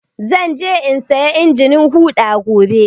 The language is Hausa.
Zan je in saya injin huɗa gobe.